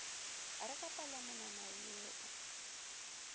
re ka palomonwana ye o